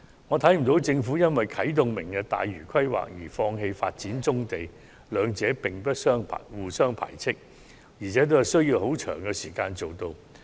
我不認為政府會因為啟動"明日大嶼"的規劃而放棄發展棕地，兩者並不互相排斥，而且均需要頗長時間才能完成。